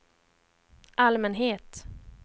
allmänhet